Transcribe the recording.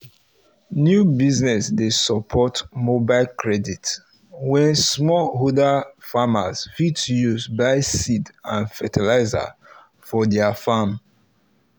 new business dey support mobile credit wey small holder farmers fit use buy seeds and fertilizer for their farm